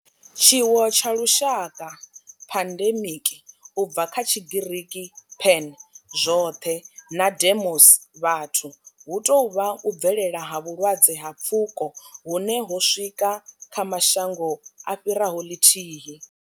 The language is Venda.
Tshiwo tsha lushaka pandemic, u bva kha Tshigiriki pan, zwothe na demos, vhathu hu tou vha u bvelela ha vhulwadze ha pfuko hune ho swika kha mashango a fhiraho ḽithihi.